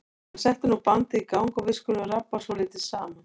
En settu nú bandið í gang og við skulum rabba svolítið saman.